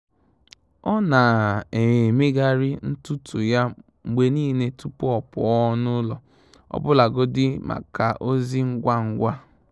Ọ́ nà-éméghàrị́ ntùtù yá mgbè nìlé tupú ọ́ pụ́ọ́ n’ụ́lọ́, ọ́bụ́làgọ́dị́ màkà ózì ngwá ngwá.